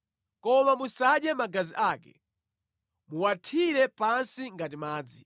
Koma musadye magazi ake. Muwathire pansi ngati madzi.